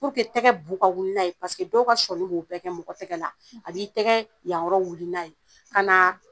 tɛgɛ bu ka wili n'a ye paseke dɔw ka sɔɔni b'o bɛɛ kɛ mɔgɔ tɛgɛ la a b'i tɛgɛɛ yan yɔrɔ wili n'a ye kanaa